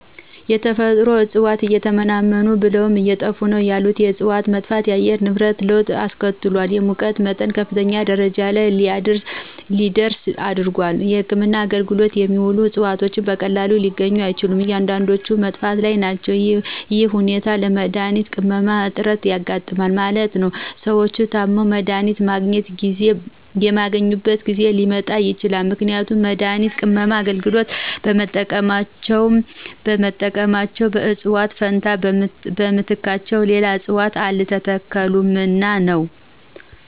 የተፈጥሮ እጽዋት እየተመናመኑ ብለውም አየጠፉ ነው ያሉት የእጽዋት መጥፋት ለአየር ንብረት ለወጥ አስከትሏል የሙቀት መጠን ከፍተኛ ደረጃ ለይ እንዲደርስ አድርጓል። ለህክምና አገልግሎት የሚውሉት እጽዋት በቀላሉ ሊገኙ አይችሉም። አንዳንዶችም በመጥፋት ላይ ናቸው ይህ ሁኔታ ለመድሀኒት ቅመማ እጥረት ያጋጥማል ማለት ነው። ሰዎች ታመው መድሀኒት የማያገኙበት ጊዜ ሊመጣ ይችላል ምክንያቱም ለመድሀኒት ቅመማ አገልግሎት በተጠቀሙባቸው እጽዋት ፈንታ በምትካቸው ሌላ እጽዋት አልተተከሉምና ነው።